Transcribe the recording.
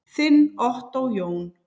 Þinn Ottó Jón.